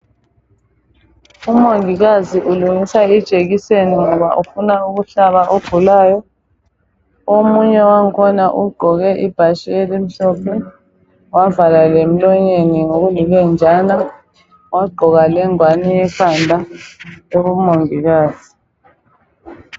Umongikazi ulungisa ijekiseni ngoba ufuna ukuhlaba ogulayo omunye wakhona ugqoke ibhatshi elimhlophe wavala lemlonyeni ngokulilenjana wagqoka lengwane ekhanda eyabomongikazi.